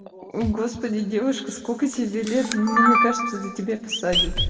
господи девушка сколько тебе лет ну мне кажется тебя посадят